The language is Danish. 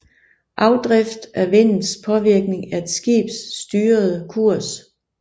Afdrift er vindens påvirkning af et skibs styrede kurs